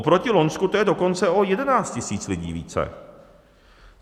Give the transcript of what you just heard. Oproti loňsku to je dokonce o 11 000 lidí více.